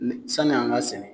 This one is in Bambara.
Sanin'an g'a sɛnɛ